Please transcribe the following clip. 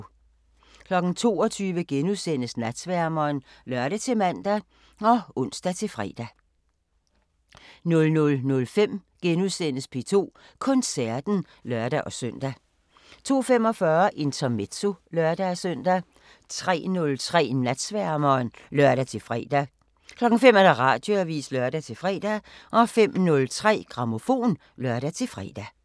22:00: Natsværmeren *(lør-man og ons-fre) 00:05: P2 Koncerten *(lør-søn) 02:45: Intermezzo (lør-søn) 03:03: Natsværmeren (lør-fre) 05:00: Radioavisen (lør-fre) 05:03: Grammofon (lør-fre)